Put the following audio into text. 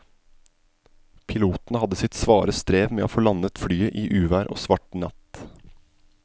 Piloten hadde sitt svare strev med å få landet flyet i uvær og svart natt.